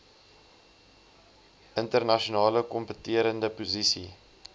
internasionale kompeterende posisie